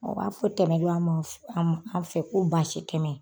Ɔ b'a fɔ tɛmɛ lɔ a man f an ma an fɛ ko basi tɛmɛ